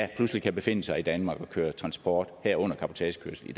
pludselig kan befinde sig i danmark og køre transport herunder cabotagekørsel i